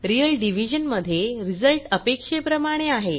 real division मध्ये result अपेक्षेप्रमाणे आहे